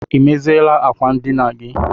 Ị meziela ákwà ndịna gị?